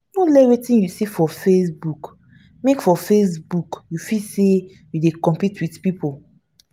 no let wetin you see for facebook make for facebook make you feel say you dey competition with pipu.